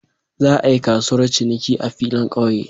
Za a yi kasuwar ciniki a filin kauye.